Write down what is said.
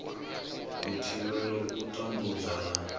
u thivhela u tambudzwa na